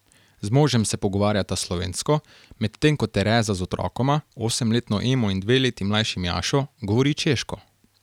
Z možem se pogovarjata slovensko, medtem ko Tereza z otrokoma, osemletno Emo in dve leti mlajšim Jašo, govori češko.